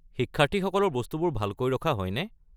শিক্ষাৰ্থীসকলৰ বস্তুবোৰ ভালকৈ ৰখা হয়নে?